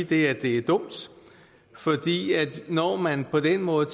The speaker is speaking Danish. det er dumt når man på den måde